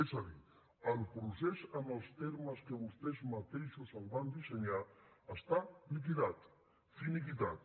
és a dir el procés en els termes que vostès mateixos el van dissenyar està liquidat finiquitat